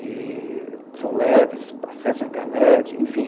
E são leves, acessam a internet, enfim.